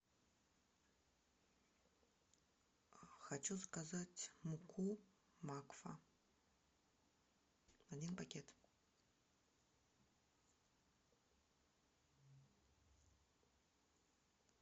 хочу заказать муку макфа один пакет